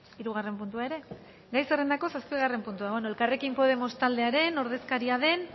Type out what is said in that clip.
hirugarren puntua ere gai zerrendako zazpigarren puntua elkarrekin podemos taldearen ordezkaria den